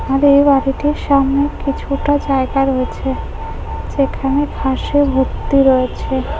আর এই বাড়িটির সামনে কিছুটা জায়গা রয়েছে যেখানে ঘাস এ ভর্তি রয়েছে।